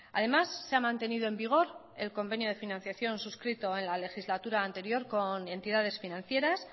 además se ha mantenido en vigor el convenio de financiación suscrito en la legislatura anterior con entidades financieras